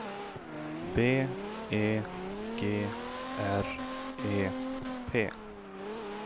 B E G R E P